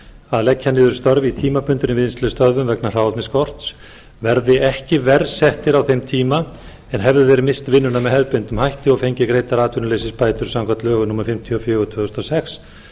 að leggja niður störf í tímabundinni vinnslustöðvun vegna hráefnisskorts verði ekki verr settir á þeim tíma en hefðu þeir misst vinnuna með hefðbundnum hætti og fengið greiddar atvinnuleysisbætur samkvæmt lögum númer fimmtíu og fjögur tvö þúsund og sex